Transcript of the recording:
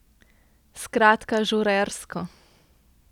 Skratka, žurersko.